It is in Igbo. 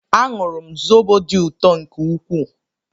Añụru m zobo dị ụtọ nke ukwuu